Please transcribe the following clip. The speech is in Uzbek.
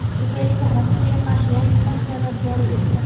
Ukraina Rossiyaga qarshi yangi sanksiyalar joriy etdi.